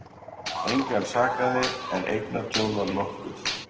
Engan sakaði en eignatjón var nokkuð